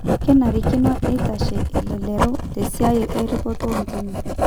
kenarikino neitashe elelero tesiai erripoto oontimi